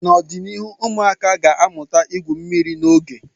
N'ọdịnihu, ụmụaka ga-amụta igwu mmiri n'oge.